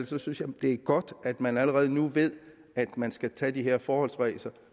så synes jeg det er godt at man allerede nu ved at man skal tage de her forholdsregler